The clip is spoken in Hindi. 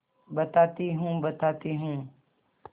बताती हूँ बताती हूँ